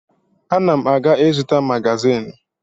Ana m a ga-ịzụta magazịn.